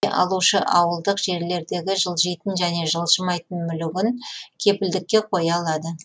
алушы ауылдық жерлердегі жылжитын және жылжымайтын мүлігін кепілдікке қоя алады